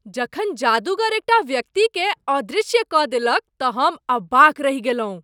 जखन जादूगर एकटा व्यक्तिकेँ अदृश्य कऽ देलक तऽ हम अवाक रहि गेलहुँ।